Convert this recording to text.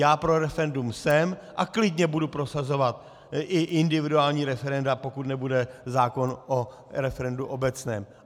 Já pro referendum jsem a klidně budu prosazovat i individuální referenda, pokud nebude zákon o referendu obecném.